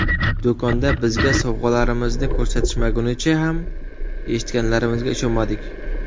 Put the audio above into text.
Do‘konda bizga sovg‘alarimizni ko‘rsatishmagunicha ham eshitganlarimizga ishonmadik.